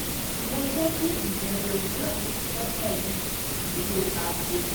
mo jẹ́ kì íbẹrẹ òwúrọ̀ mi jẹ́ pẹ̀lú ìró aago